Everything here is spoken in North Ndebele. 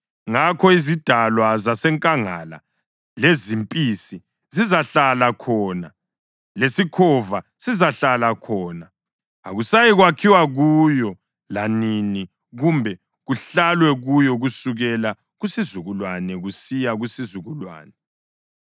Ngakho izidalwa zasenkangala lezimpisi zizahlala khona, lesikhova sizahlala khona. Akusayikwakhiwa kuyo lanini kumbe kuhlalwe kuyo kusukela kusizukulwane kusiya kusizukulwane.